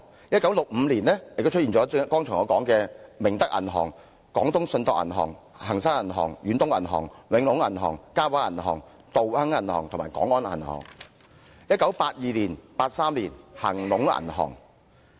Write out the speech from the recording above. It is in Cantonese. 1965年，我剛才說的明德銀號、廣東信託銀行、恒生銀行、遠東銀行、永隆銀行、嘉華銀行、道亨銀行和廣安銀行也出現擠提。